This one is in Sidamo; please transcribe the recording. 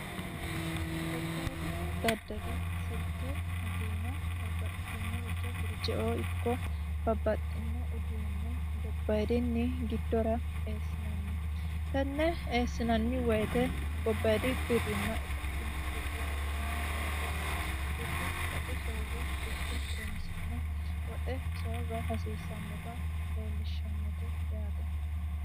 gobbaeri daddali silke motiina babbaxxitinoricho firjeoo ikko babbaxxino uduunne gobbairinni giddora eessinanni tenne eessinanni woyite gobbayid birrinna itophinni birri baxxino daafo birru woxu soorre guqe horonsi'ne woxe soorra hasiissannota leellishshannote yaate